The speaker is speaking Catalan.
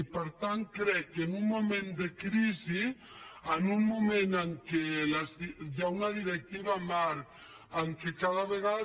i per tant crec que en un moment de crisi en un moment en què hi ha un directiva marc en què cada vegada